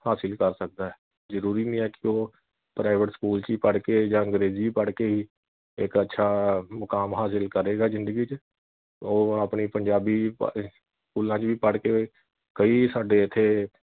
ਹਾਸਿਲ ਕਰ ਸਕਦਾ ਐ ਜਰੂਰੀ ਨਹੀ ਹੈ ਕਿ ਉਹ private ਸਕੂਲ ਵਿਚ ਹੀ ਪੜ ਕੇ ਜਾਂ ਅੰਗਰੇਜੀ ਪੜ ਕੇ ਈ ਇਕ ਅੱਛਾ ਮੁਕਾਮ ਹਾਸਿਲ ਕਰੇਗਾ ਜਿੰਦਗੀ ਵਿਚ ਉਹ ਆਪਣੀ ਪੰਜਾਬੀ ਸਕੂਲਾਂ ਵਿਚ ਵੀ ਪੜ ਕੇ ਕਈ ਸਾਡੇ ਇਥੇ